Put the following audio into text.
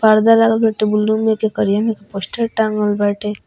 पर्दा लागल बाटे बुलू में के करिया में के पोस्टर टाँगल बाटे।